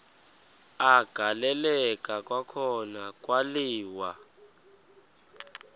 agaleleka kwakhona kwaliwa